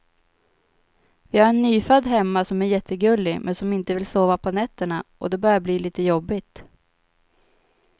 Vi har en nyfödd hemma som är jättegullig, men som inte vill sova på nätterna och det börjar bli lite jobbigt.